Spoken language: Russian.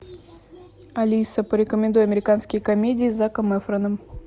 алиса порекомендуй американские комедии с заком эфроном